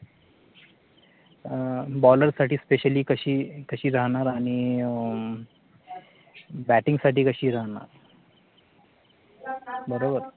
bowler साठी Specially कशी राहणार, आणि Batting साठी कशी राहणार